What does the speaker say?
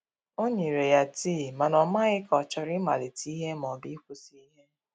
o nyere ya tii, mana o maghi ka ochọrọ I malite ihe ma ọbụ ikwụsi ihe.